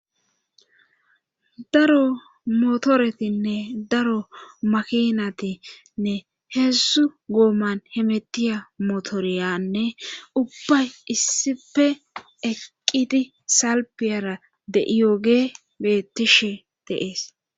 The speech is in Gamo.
daro motoretinne daro makinatinne heessu gooman hemetiya motoriyanne ubbay issife eqqiti salpiyara deiyooge bettishe deees